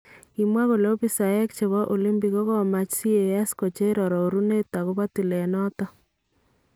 Kimwaa kole opisaeek chebo olimpik kokamach CAS kocheer aroorunet akobo tillet noton .